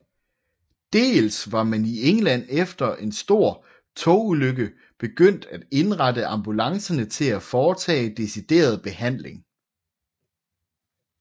Dels var man i England efter en stor togulykke begyndt at indrette ambulancerne til at foretage decideret behandling